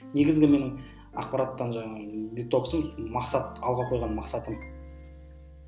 негізгі менің ақпараттан жаңағы детоксым мақсат алға қойған мақсатым